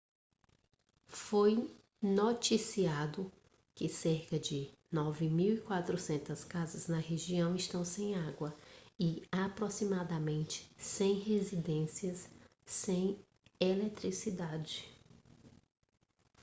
foi noticiado que cerca de 9.400 casas na região estão sem água e aproximadamente 100 residências sem eletricidade